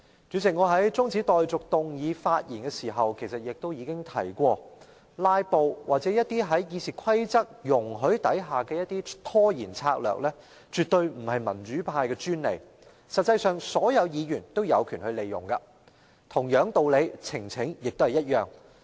主席，我在動議中止待續議案發言時已提過，"拉布"或在《議事規則》下容許的一些拖延策略絕非民主派的專利，實際上，所有議員也有權利使用，呈請亦然。